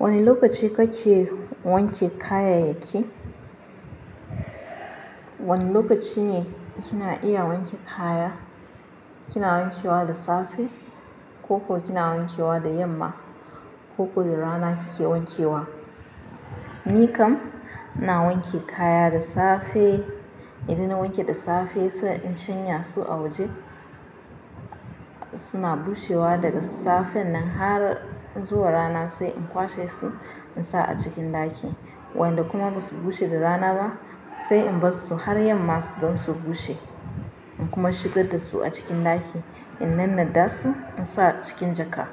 Wani lokaci kake wanke kayayyaki? Wane lokaci ne kina iya wanke kaya? Kina wanke wa da safe ko kina wanke wa da yamma koko da rana kike wanke wa? Ni kam ina wanke kaya da safe. Idan na wanke da safe sai in shanya su a waje suna bushewa daga safen nan har zuwa rana sai in kwashe su in sa a cikin ɗaki. Wayanda kuma ba su bushe da rana ba sai in bar su har yamma su don su bushe. In kuma shigar da su a cikin ɗaki in nanna dasu in sa cikin jaka.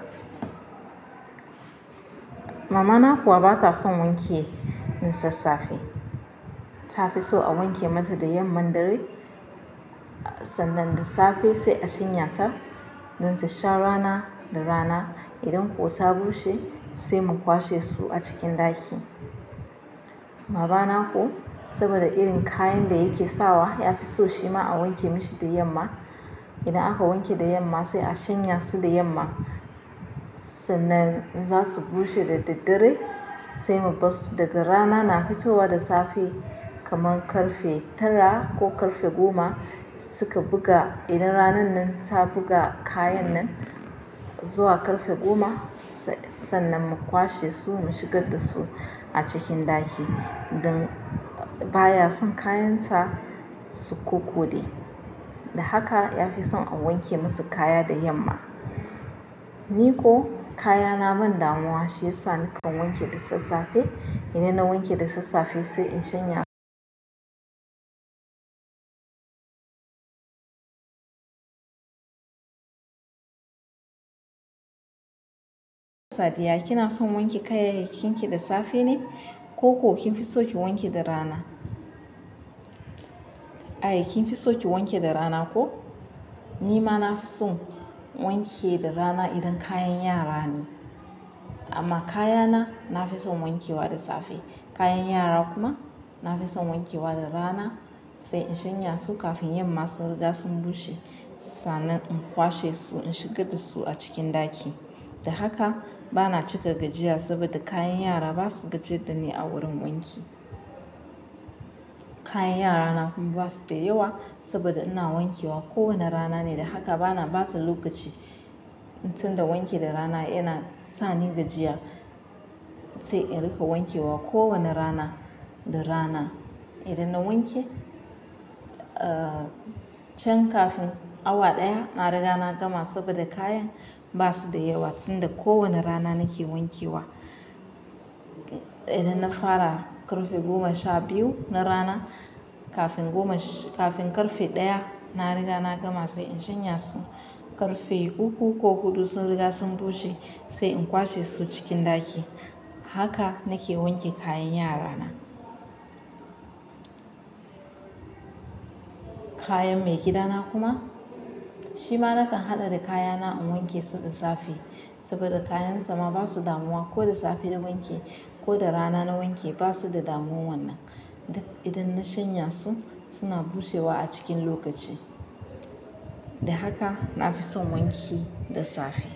Mama na kuwa ba ta son wanke da sassafe. Ta fi so a wanke mata da yamman dare sannan da safe sai a shanya ta don ta sha rana da rana. Idan kuwa ta bushe sai mu kwashe su a cikin ɗaki. Baba na kuwa saboda irin kayan da yake sawa ya fi so shi ma a wanke mishi da yamma. Idan aka wanke da yamma sai a shanya su da yamma sannan za su bushe da daddare sai mu bar su daga rana na fitowa da safe kaman karfe tara ko karfe goma suka buga. Idan ranan nan ta buga kayan nan zuwa karfe goma sannan mu kwashe su mu shigar da su a cikin ɗaki don baya son kayansa su kokode. Da haka ya fi son a wanke masa kaya da yamma. Ni ko kayana ban damuwa shi yasa nakan wanke da sassafe. Idan na wanke da sassafe sai in shanya. Sadiya kina son wanke kayayyakin ki da safe ne koko kin fi so ki wanke da rana? Ai kin fi so ki wanke da rana ko? Ni ma na fi son wanke da rana idan kayan yara ne. Amma kayana na fi son wanke wa da safe. Kayan yara kuma na fi son wanke wa da rana sai in shanya su kafin yamman sun riga sun bushe sannan in kwashe su in shigar da su a cikin ɗaki. Da haka bana cika gajiya saboda kayan yara ba su gajiyar da ni a wurin wanki. Kayan yara na kuma ba su da yawa saboda ina wanke wa kowane rana ne da haka bana bata lokaci tunda wanke da rana yana sa ni gajiya sai in rika wanke wa kowane rana da rana. Idan na wanke, ah chan kafin awa ɗaya na riga na gama saboda kayan ba su da yawa sanda kowane rana nake wanke wa. Idan na fara karfe goma sha biyu na rana kafin goma shi-- kafin karfe ɗaya na riga na gama sai in shanya su. Karfe uku ko huɗu sun riga sun bushe sai in kwashe su cikin ɗaki. Haka nake wanke kayan yara na. Kayan maigida na kuma shi ma nakan haɗa da kayana in wanke su da safe saboda kayan sama ba su damuwa ko da safe na wanke ko da rana na wanke ba su da damuwan nan. Idan na shanya su suna bushewa a cikin lokaci. Da haka na fi son wanki da safe.